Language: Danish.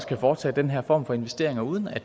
kan foretage den her form for investering uden at